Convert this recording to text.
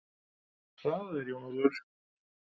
Hraðaðu þér Jón Ólafur.